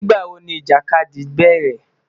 Nigbawo ni ijakadi bẹrẹ?